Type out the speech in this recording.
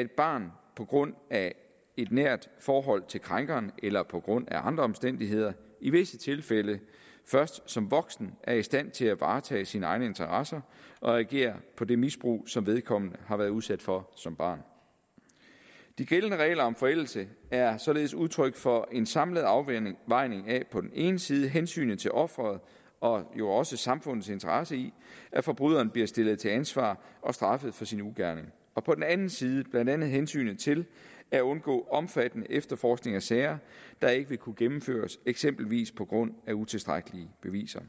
et barn på grund af et nært forhold til krænkeren eller på grund af andre omstændigheder i visse tilfælde først som voksen er i stand til at varetage sine egne interesser og reagere på det misbrug som vedkommende har været udsat for som barn de gældende regler om forældelse er således udtryk for en samlet afvejning af på den ene side hensynet til offeret og jo også samfundets interesse i at forbryderen bliver stillet til ansvar og straffet for sin ugerning og på den anden side blandt andet hensynet til at undgå omfattende efterforskning af sager der ikke vil kunne gennemføres eksempelvis på grund af utilstrækkelige beviser